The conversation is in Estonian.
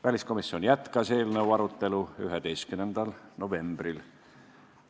Väliskomisjon jätkas eelnõu arutelu 11. novembril.